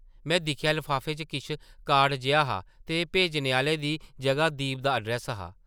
में दिक्खेआ लफाफे च किश कार्ड जेहा हा ते भेजने आह्ले दी जगह दीप दा अड्रैस्स हा ।